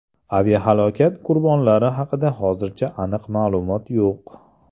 Aviahalokat qurbonlari haqida hozircha aniq ma’lumot yo‘q.